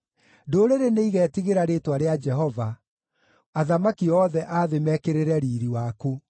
Ndũrĩrĩ nĩigeetigĩra rĩĩtwa rĩa Jehova, athamaki othe a thĩ mekĩrĩre riiri waku.